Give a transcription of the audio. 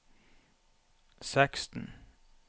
seksten